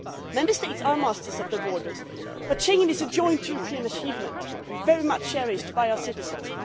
Member States are masters of their borders, but Schengen is a joint European achievement and very much cherished by our citizens.